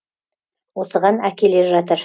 осыған әкеле жатыр